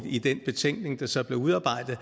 i den betænkning der så blev udarbejdet